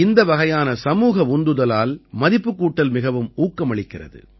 இந்த வகையான சமூக உந்துதலால் மதிப்புக் கூட்டல் மிகவும் ஊக்கமளிக்கிறது